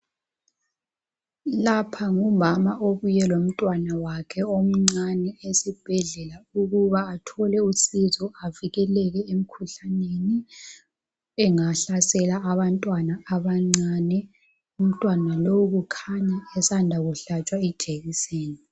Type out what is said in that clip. Lapha ngumama obuye lomntwana wakhe omncane esibhedlela ukuba athole usizo avikeleke emikhuhlaneni engahlasela abantwana abancane. Umntwana lo ukhanya esanda ukuhlatshwa ijekiseni.